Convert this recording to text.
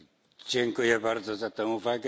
Dziękuję bardzo za tę uwagę.